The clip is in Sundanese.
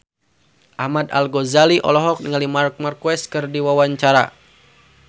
Ahmad Al-Ghazali olohok ningali Marc Marquez keur diwawancara